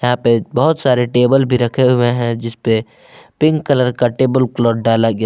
यहां पे बहोत सारे टेबल भी रखें हुए हैं जिसपे पिंक कलर का टेबल क्लॉथ डाला गया--